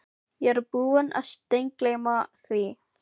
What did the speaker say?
Fjöldinn allur af öðrum vefjum líkamans og líffærum getur skemmst.